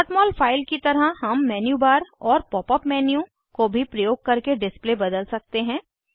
mol file की तरह हम मेन्यू बार और पॉप अप मेन्यू को भी प्रयोग करके डिस्प्ले बदल सकते हैं